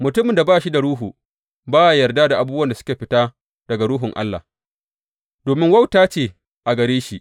Mutumin da ba shi da Ruhu, ba ya yarda da abubuwan da suka fita daga Ruhun Allah, domin wauta ce a gare shi.